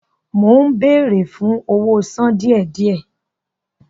Mó ń béèrè fún owó sàn díẹ̀-díẹ̀